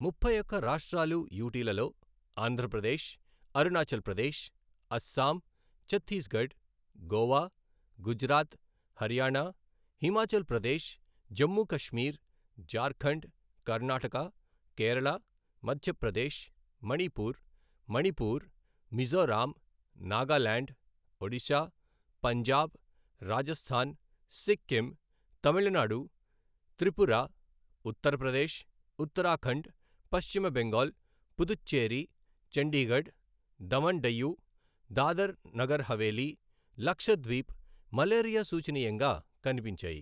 ముప్పై ఒక్క రాష్ట్రాలు యుటిలలో ఆంధ్రప్రదేశ్, అరుణాచల్ ప్రదేశ్, అస్సాం, ఛత్తీస్గఢ్, గోవా, గుజరాత్, హర్యానా, హిమాచల్ ప్రదేశ్, జమ్మూ కశ్మీర్, జార్ఖండ్, కర్ణాటక, కేరళ, మధ్యప్రదేశ్, మణిపూర్, మణిపూర్, మిజోరాం, నాగాలాండ్, ఒడిశా, పంజాబ్, రాజస్థాన్, సిక్కిం, తమిళనాడు, త్రిపుర, ఉత్తరప్రదేశ్, ఉత్తరాఖండ్, పశ్చిమ బెంగాల్, పుదుచ్చేరి, చండీగఢ్, దమన్ డయ్యు, దాదర్ నగర్ హవేలీ, లక్షద్వీప్ మలేరియా సూఛనీయంగా కనిపించాయి.